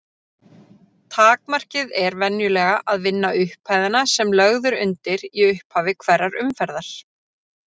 Takmarkið er venjulega að vinna upphæðina sem lögð er undir í upphafi hverrar umferðar.